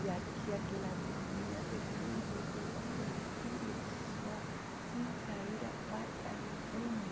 E aqui aquela vidinha terrível, cuidando de só filhos, sem sair a parte alguma.